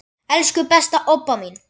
Elsku besta Obba mín.